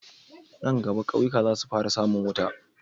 Nan gama kauyuka zasu fara samun wuta